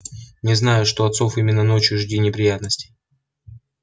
не знаю что от сов именно ночью жди неприятностей